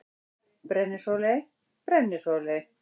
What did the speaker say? Brennisóley: Brennisóley.